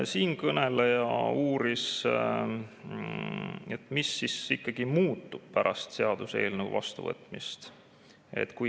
Siinkõneleja uuris, mis siis ikkagi muutub pärast seaduseelnõu vastuvõtmist.